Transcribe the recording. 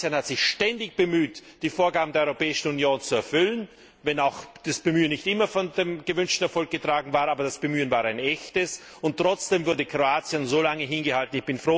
Kroatien hat sich ständig bemüht, die Vorgaben der Europäischen Union zu erfüllen, wenn auch das Bemühen nicht immer von dem gewünschten Erfolg getragen war, aber das Bemühen war ein echtes. Trotzdem wurde Kroatien so lange hingehalten.